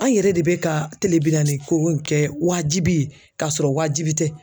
An yɛrɛ de be ka tele bi naani ko kɛ wajibi ye kasɔrɔ waajibi tɛ.